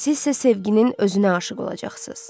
Sizsə sevginin özünə aşiq olacaqsınız.